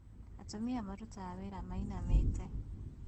Atumia marutaga wĩra mainamĩte